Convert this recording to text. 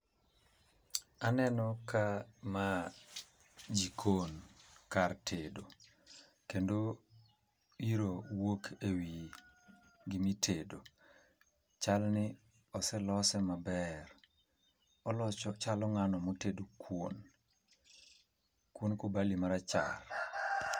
Aneno ka ma jikon, kar tedo. Kendo iro wuok e wi gima itedo. Chal ni oselose maber. chalo ngáno ma otedo kuon. Kuond kubali ma rachar.